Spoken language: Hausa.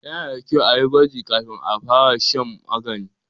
Yana da kyau a yi gwaji kafin a fara shan magani.